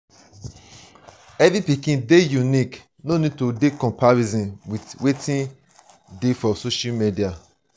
every pikin dey unique no need to comparison with wetin dey for social media